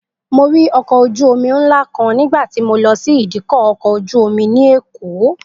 Mo rí ọkọ̀ ojú-omi ńlá kan nígbà tí mo lọ sí ìdíkọ̀ ọkọ̀ ojú-omi ní Èkó